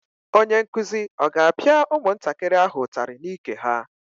Onye nkuzi ọ ga-apịa ụmụntakịrị ahụ ụtarị n'ike ha?